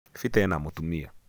peter ena mũtumia